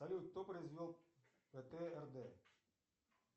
салют кто произвел птрд